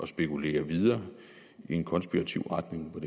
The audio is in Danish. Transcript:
spekulere videre i en konspiratorisk retning